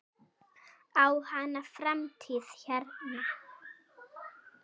Á hann framtíð hérna?